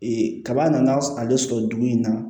Ee kaba nana ale sɔrɔ dugu in na